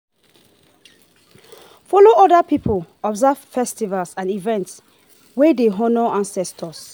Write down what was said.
follow oda pipo observe festivals and events wey dey honor ancestor